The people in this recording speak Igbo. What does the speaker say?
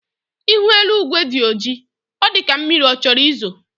Ihu eluigwe dị ọjị, ọ dịka mmiri chọrọ izo